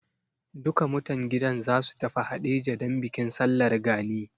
Duka mutan gidan za su tafi Haɗeja don bikin Sallar Gani.